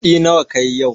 Kuɗi nawa kayi yau?